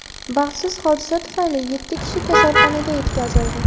Baxtsiz hodisa tufayli yetti kishi kasalxonaga yetkazildi.